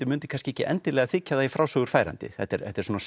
mundi kannski ekki endilega þykja það í frásögur færandi þetta er þetta er